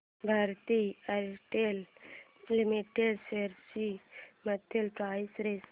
Bharti Airtel limited shares ची monthly price range